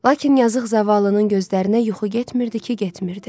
Lakin yazıq zavallının gözlərinə yuxu getmirdi ki, getmirdi.